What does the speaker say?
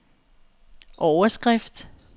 overskrift